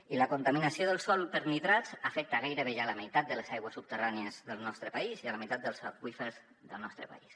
i la contaminació del sòl per nitrats afecta gairebé ja la meitat de les aigües subterrànies del nostre país i la meitat dels aqüífers del nostre país